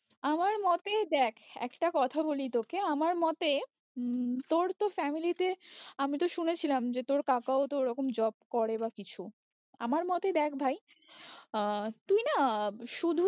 আমার মতেই দেখ একটা কথা বলি তোকে আমার মতে উম তোর তো family তে আমি তো শুনেছিলাম যে তোর কাকাও তো ওরকম job করে বা কিছু, আমার মতে দেখ ভাই আহ তুই না শুধু যে